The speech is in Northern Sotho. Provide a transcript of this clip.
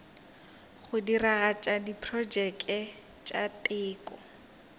go diragatša diprotšeke tša teko